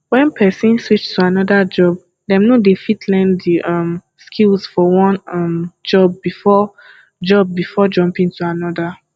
when person switch to anoda job dem no de fit learn di um skills for one um job before job before jumping to another